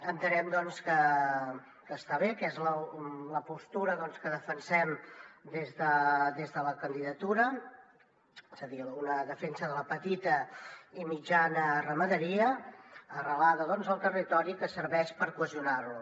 entenem doncs que està bé que és la postura que defensem des de la candidatura és a dir una defensa de la petita i mitjana ramaderia arrelada al territori que serveix per cohesionar lo